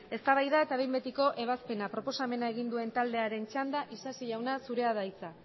eztabaida eta behin betiko ebazpena proposamen egin duen taldearen txanda isasi jauna zurea da hitza